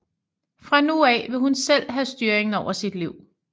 Fra nu af vil hun selv have styringen over sit liv